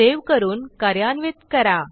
save करून कार्यान्वित करा